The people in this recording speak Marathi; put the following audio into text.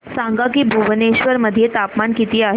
सांगा की भुवनेश्वर मध्ये तापमान किती आहे